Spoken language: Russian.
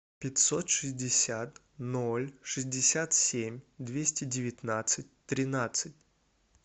пятьсот шестьдесят ноль шестьдесят семь двести девятнадцать тринадцать